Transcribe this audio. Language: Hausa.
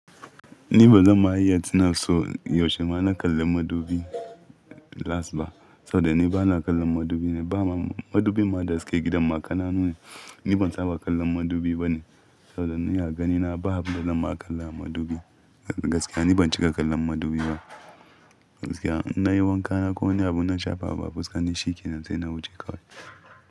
Ni bazan ma iya tuna so yaushe ma na kalla madubi last ba. Saboda ni bana kallon madubi ne, ba ma madubin ma da suke gidan ma kananu ne. Ni ban saba kallon madubi ba ne. Saboda ni a ganina ba abunda zan ma kalla madubi. Gaskiya ni ban cika kallon madubi ba. Gaskiya in nayi wanka na ko wani abu na shafa abu fuska ni shi ke nan sai na wuce kawai.